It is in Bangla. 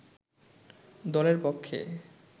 দলের পক্ষে